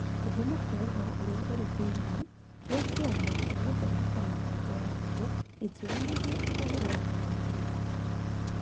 Kĩhumo kĩa ũhoro ũrĩa ũrĩ thĩinĩ kĩa kĩama kĩa Gũthondeka Mĩbango ya Arutwo, gĩtionanagia ũhoro ũratanywo gwĩtĩkĩrio.